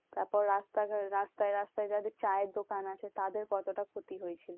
তারপর রাস্তা রাস্তায় রাস্তায় যাদের চায়ের দোকান আছে তাদের কতটা ক্ষতি হয়েছিল